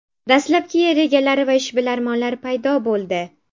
Dastlabki yer egalari va ishbilarmonlar paydo bo‘ldi.